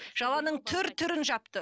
жаланың түр түрін жапты